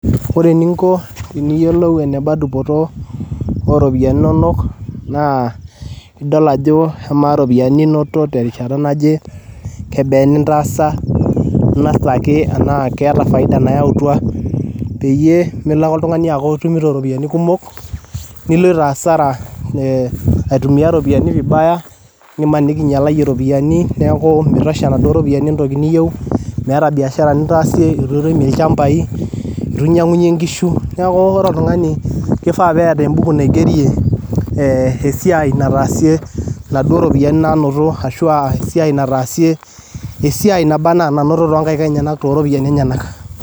Ore eninko tiniyelou eneba dupoto ooropiyiani inonok naa idol ajo amaa iropiyiani ninoto te rishata naje kebaa inintaasa inosita ake enaa keata faida nayautwa peye imilo ake oltungani aaku itumuto ropiyiani kumok niloito hasara aitumiya ropiyiani vibaya nimaniki ininyalaiye ropiyiani neaku meitosha nado ropiyiani intoki niyeu meeta biashara nintaasie, etu irem olchambai, etu inyang'unye inkishu, neaku ore ltungani keifaa peeta embuku naigerie esiaai nataasie nado ropiyiani naanoto ashu aasiaai nataasie, esiaai neba anaa nanototo nkaik enena to ropiyiani enanak